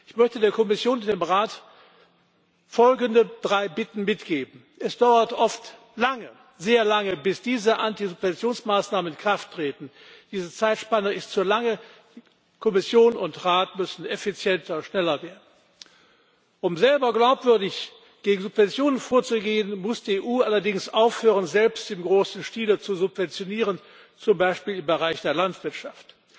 Ich möchte der Kommission und dem Rat folgende drei Bitten mitgeben Es dauert oft lange, sehr lange, bis diese Antisubventionsmaßnahmen in Kraft treten. Diese Zeitspanne ist zu lang. Kommission und Rat müssen effizienter und schneller werden. Um selber glaubwürdig gegen Subventionen vorzugehen, muss die EU allerdings aufhören, selbst im großen Stil zu subventionieren, zum Beispiel im Bereich der Landwirtschaft.